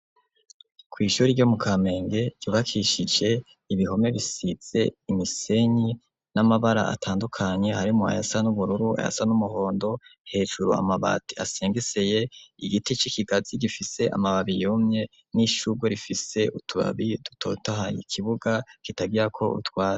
Kw' ishuri ryo mu Kamenge ryubakishije ibihome bisize imisenyi n'amabara atandukanye harimwo ayasa n'ubururu ayasa n'umuhondo hejuru amabati asengeseye igiti c'ikigazi gifise amababi yumye n'ishugwe rifise utubabi dutotahaye ikibuga kitagirako utwa